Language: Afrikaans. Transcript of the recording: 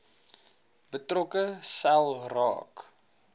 betrokke sel raak